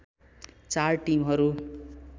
चार टिमहरू